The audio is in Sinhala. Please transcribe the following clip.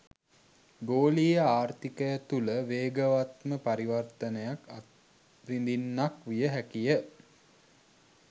ගෝලීය ආර්ථිකය තුළ වේගවත්ම පරිවර්තනයක් අත්විඳින්නක් විය හැකිය.